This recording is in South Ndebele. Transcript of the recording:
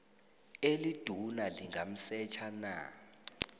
eliduna lingamsetjha na